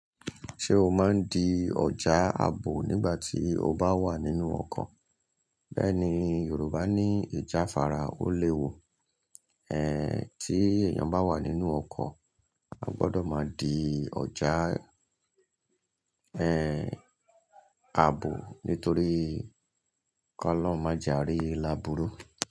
Ṣé o máa ń di ọjà àbò nígbà tí o bá wà nínú ọkọ̀? Bẹ́ẹ̀ni, Yorùbá ní ìjáfara. Ó léwu. Tí èèyàn bá wà nínú ọkọ̀, a gbọdọ̀ má di ọjà àbò nítorí kolohun máa ja rí làbúrú.